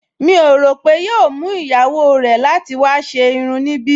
Mi ò rò pé yóò mú ìyàwó rẹ̀ láti wá ṣe irun níbí